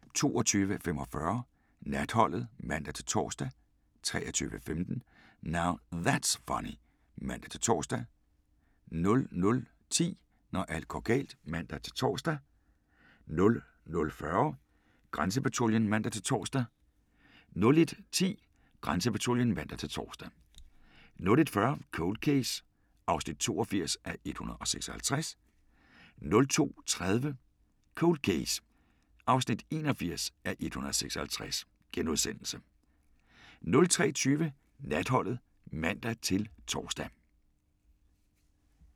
22:45: Natholdet (man-tor) 23:15: Now That's Funny (man-tor) 00:10: Når alt går galt (man-tor) 00:40: Grænsepatruljen (man-tor) 01:10: Grænsepatruljen (man-tor) 01:40: Cold Case (82:156) 02:30: Cold Case (81:156)* 03:20: Natholdet (man-tor)